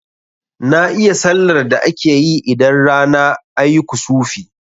Na iya sallar da akeyi idan rana ayi kusufi